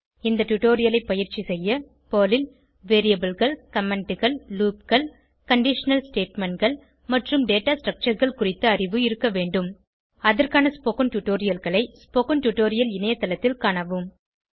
இந்த டுடோரியலை பயிற்சி செய்ய பெர்ல் ல் Variableகள் commentகள் loopகள் கண்டிஷனல் statementகள் மற்றும் டேட்டா Structureகள் குறித்த அறிவு இருக்க வேண்டும் அதற்கான ஸ்போகன் டுடோரியல்களை ஸ்போகன் டுடோரியல் இணையத்தளத்தில் காணவும்